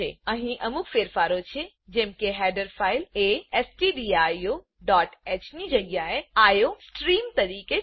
અહી અમુક ફેરફારો છે જેમ કે હેડર ફાઈલ એ stdioહ ની જગ્યા એ આઇઓસ્ટ્રીમ તરીકે છે